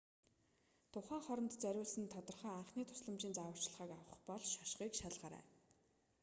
тухайн хоронд зориулсан тодорхой анхны тусламжийн зааварчилгааг авах бол шошгыг шалгаарай